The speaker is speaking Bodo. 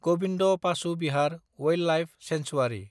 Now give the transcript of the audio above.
Gobind Pashu Vihar wildlife sanctuary